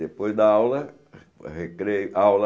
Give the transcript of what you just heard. Depois da aula, almoço, re recreio, aula.